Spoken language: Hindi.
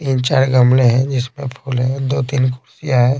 तीन चार गमले हैंजिसमें फूल हैदो तीन क है।